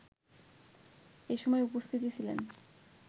এসময় উপস্থিত ছিলেন